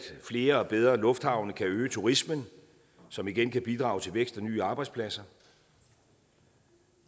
flere og bedre lufthavne kan øge turismen som igen kan bidrage til vækst og nye arbejdspladser